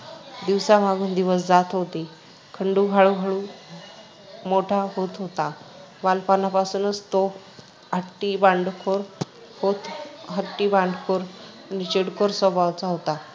दिवसा मागून दिवस जात होते. खंडू हळू- हळू मोठा होत होता. बालपणापासूनच तो हट्टी, भांडखोर होत, हट्टी, भांडखोर आणि चिडखोर स्वभावाचा होता.